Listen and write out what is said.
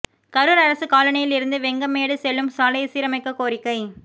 கரூர் அரசு காலனியில் இருந்து வெங்கமேடு செல்லும் சாலையை சீரமைக்க கோரிக்கை